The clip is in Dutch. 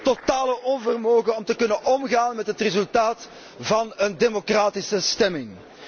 En het totale onvermogen om te kunnen omgaan met het resultaat van een democratische stemming.